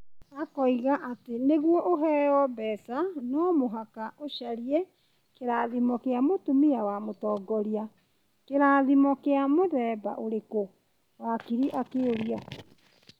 Ũkoiga atĩ nĩguo ũheo mbeca no mũhaka ũcarie kĩrathimo kĩa mũtumia wa mũtongoria, kĩrathimo kĩa mũthemba ũrĩkũ? Wakiri akĩmũria .